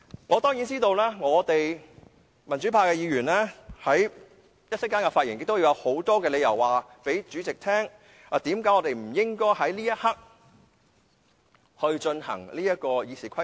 我當然知道，民主派議員在接下來的發言中，會告訴主席很多理由，解釋為何我們不應該在這一刻修訂《議事規則》。